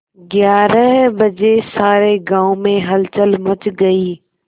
ग्यारह बजे सारे गाँव में हलचल मच गई